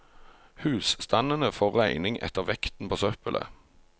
Husstandene får regning etter vekten på søppelet.